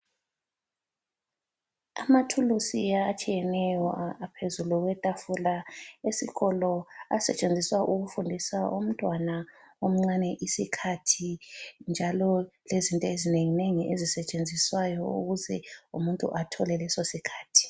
Amathulusi atshiyeneyo aphezulu kwetafula esikolo asetshenziswa ukufundisa umntwana omncane isikhathi, njalo lezinto ezinenginengi ezisetshenziswayo ukuze umuntu athole leso sikhathi.